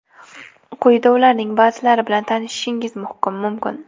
Quyida ularning ba’zilari bilan tanishishingiz mumkin.